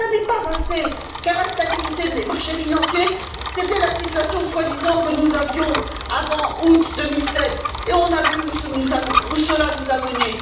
Ce n'est pas assez, car la stabilité des marchés financiers, c'était la situation, soi disant, que nous avions avant août 2007, et on a vu où cela nous a menés.